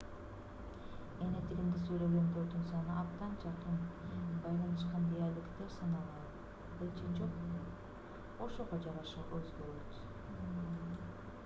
эни тилинде сүйлөгөндөрдүн саны абдан жакын байланышкан диалекттер саналабы же жокпу ошого жараша өзгөрөт